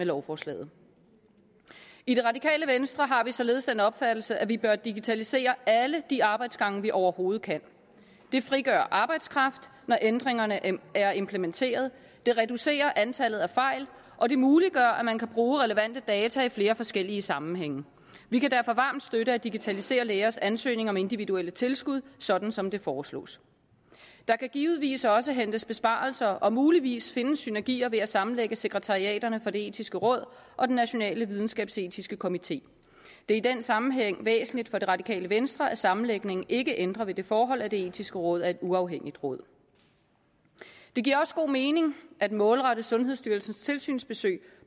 lovforslaget i det radikale venstre har vi således den opfattelse at vi bør digitalisere alle de arbejdsgange vi overhovedet kan det frigør arbejdskraft når ændringerne er implementeret det reducerer antallet af fejl og det muliggør at man kan bruge relevante data i flere forskellige sammenhænge vi kan derfor varmt støtte at digitalisere lægers ansøgninger om individuelle tilskud sådan som det foreslås der kan givetvis også hentes besparelser og muligvis findes synergier ved at sammenlægge sekretariaterne for det etiske råd og den nationale videnskabsetiske komité det er i den sammenhæng væsentligt for det radikale venstre at sammenlægningen ikke ændrer på det forhold at det etiske råd er et uafhængigt råd det giver også god mening at målrette sundhedsstyrelsens tilsynsbesøg